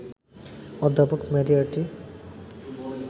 অধ্যাপক মেরিয়ার্টি